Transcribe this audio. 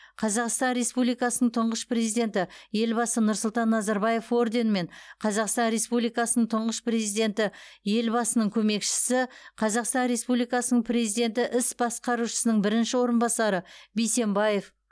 қазақстан республикасының тұңғыш президенті елбасы нұрсұлтан назарбаев орденімен қазақстан республикасының тұңғыш президенті елбасының көмекшісі қазақстан республикасының президенті іс басқарушысының бірінші орынбасары бисембаев